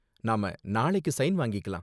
நாம நாளைக்கு ஸைன் வாங்கிக்கலாம்.